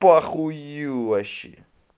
похую вообще